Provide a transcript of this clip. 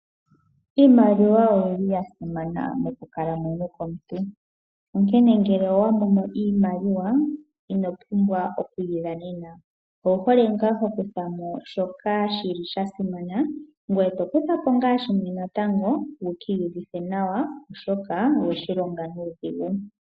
Iimaliwa oyili yasimana mokukalamwenyo komuntu. Onkene ngele owa mono iimaliwa ino pumbwa okuyi dhanena. Owu hole ngaa hokuthamo shoka shili sha simana ngoye to kuthapo ngaa shimwe natango wuki iyivithe nawa oshoka oweshi longa nuudhingu.